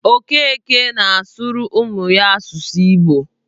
Okeke na-asụrụ ụmụ ya asụsụ Igbo.